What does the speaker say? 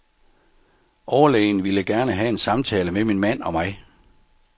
Overlægen ville gerne have en samtale med min mand og mig.